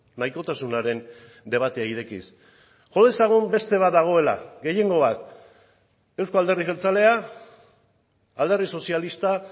nahitasunaren debatea irekiz jo dezagun beste bat dagoela gehiengo bat euzko alderdi jeltzalea alderdi sozialista